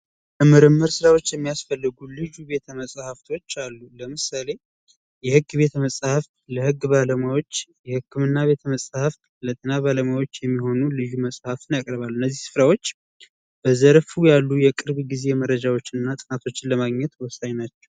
ለምርመራ ስራዎች የሚያስፈልጉ ልዩ ቤተመፅሀፍቶች አሉ ለምሳሌ የህግ ቤት መፅሀፍ ለህግ ባለሙያዎች ፣የህክምና ቤተመጻሕፍት ለጤና ባለሙያዎች የሚሆኑ ልዩ መፅሀፍትን ያቀርባሉ። እነዚህ ስፍራዎች በዘርፉ ያሉ የቅርብ ጊዜ መረጃዎችን እና ጥናቶችን ለማግኘት ወሳኝ ናቸው።